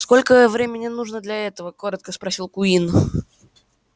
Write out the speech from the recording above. сколько времени нужно для этого коротко спросил куинн